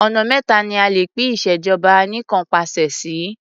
Ọ̀nà méta ni a lè pín ìṣèjọba anìkanpàṣẹ sí.